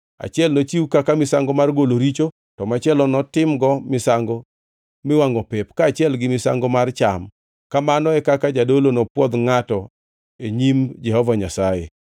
achiel nochiw kaka misango mar golo richo, to machielo to notimgo misango miwangʼo pep, kaachiel gi misango mar cham. Kamano e kaka jadolo nopwodh ngʼatno e nyim Jehova Nyasaye.”